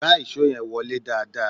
Gbá ìṣó yẹn wọlé dáadáa!